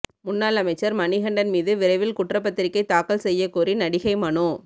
முன்னாள் அமைச்சர் மணிகண்டன் மீது விரைவில் குற்றப்பத்திரிகை தாக்கல் செய்யக்கோரி நடிகை மனு